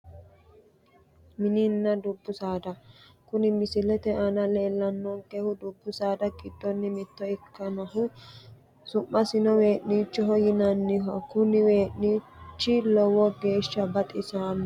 Mininna dubbu saada kuni misilete aana leellannonkehu dubbu saada giddonni mitte ikkinohu su'masino wee'niichoho yinanniho kuni wee'niichi lowo geeshsha baxisanno